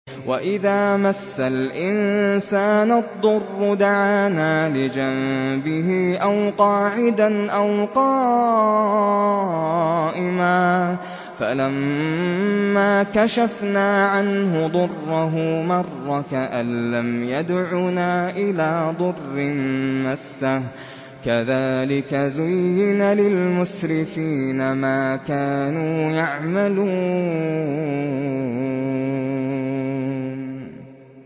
وَإِذَا مَسَّ الْإِنسَانَ الضُّرُّ دَعَانَا لِجَنبِهِ أَوْ قَاعِدًا أَوْ قَائِمًا فَلَمَّا كَشَفْنَا عَنْهُ ضُرَّهُ مَرَّ كَأَن لَّمْ يَدْعُنَا إِلَىٰ ضُرٍّ مَّسَّهُ ۚ كَذَٰلِكَ زُيِّنَ لِلْمُسْرِفِينَ مَا كَانُوا يَعْمَلُونَ